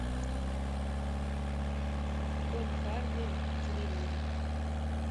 том харди в триллере